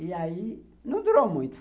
E aí não durou muito.